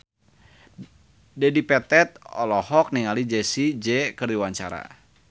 Dedi Petet olohok ningali Jessie J keur diwawancara